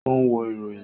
O n wo iroyin.